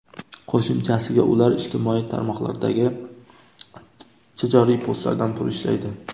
Qo‘shimchasiga, ular ijtimoiy tarmoqlardagi tijoriy postlardan pul ishlaydi.